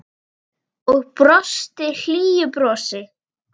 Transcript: Og brosti hlýju brosi.